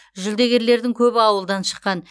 жүлдегерлердің көбі ауылдан шыққан